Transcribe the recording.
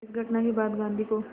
इस घटना के बाद गांधी को